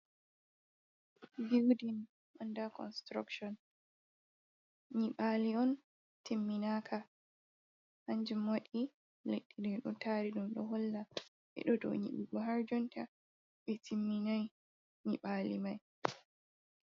Building under construction. Nyiɓaalo on timminaaka. Kannjum waɗi leɗɗe ɗo taari ɗum, ɗo holla ɓe ɗo dow nyibɓugo, haa jonta ɓe timminaay nyiɓaalo may.